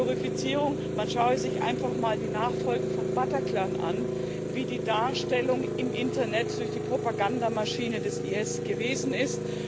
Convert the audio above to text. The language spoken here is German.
Glorifizierung man schaue sich einfach mal die Folgen von Bataclan an, wie die Darstellung im Internet durch die Propagandamaschine des IS gewesen ist.